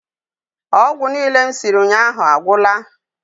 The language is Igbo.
Ogwu niile m siri unyahu agwula